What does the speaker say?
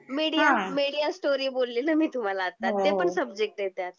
Media हां , media story बोलली ना मी तुम्हाला आता हो हो त्यातले पण सब्जेक्ट आहेत.